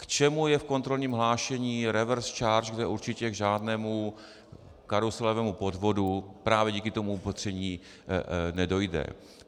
K čemu je v kontrolním hlášení reverse charge, kde určitě k žádnému karuselovému podvodu právě díky tomu opatření nedojde?